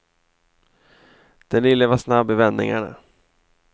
Den lille var snabb i vändningarna.